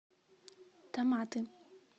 томаты